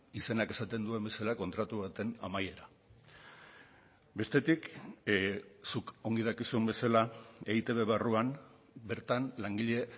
izenak esaten duen bezala kontratu baten amaiera bestetik zuk ongi dakizun bezala eitb barruan bertan langile